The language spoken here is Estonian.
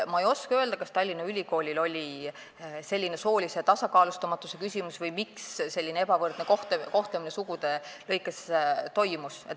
Ma ei oska öelda, kas Tallinna Ülikoolis oli soolise tasakaalustamatuse küsimus või miks selline ebavõrdne kohtlemine soo alusel toimus.